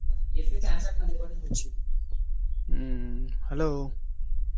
হম hello